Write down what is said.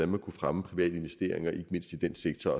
man kunne fremme private investeringer ikke mindst i den sektor